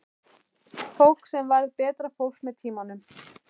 Fólk sem varð betra fólk með tímanum.